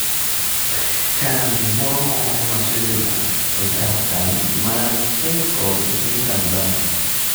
Kambi moro moro ma Switzerland oyao kambi mar kemikol e piny Tanzania